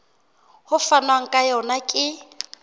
ho fanwang ka yona ke